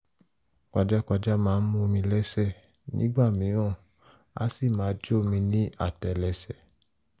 pajápajá máa ń mú mi lẹ́sẹ̀ nígbà mìíràn a sì máa jó mi ní àtẹ́lẹsẹ̀